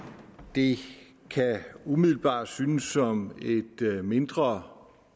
det kan umiddelbart synes som et mindre